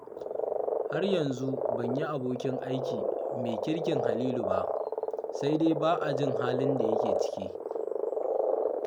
Har yanzu ban yi abokin aiki mai kirkin Halilu ba, sai dai ba a jin halin da yake ciki